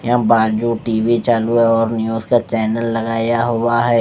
यहाँ बाजू टीवी चालू है और न्यूज का चैनल लगाया हुआ है।